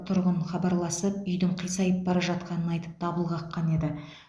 тұрғын хабарласып үйдің қисайып бара жатқанын айтып дабыл қаққан еді